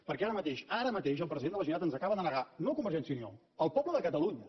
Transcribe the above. perquè ara mateix ara mateix el president de la generalitat ens acaba de negar no a convergència i unió al poble de catalunya